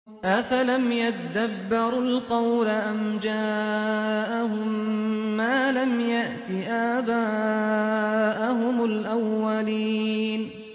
أَفَلَمْ يَدَّبَّرُوا الْقَوْلَ أَمْ جَاءَهُم مَّا لَمْ يَأْتِ آبَاءَهُمُ الْأَوَّلِينَ